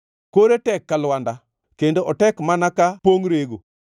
Kore tek ka lwanda, kendo otek mana ka pongʼ rego.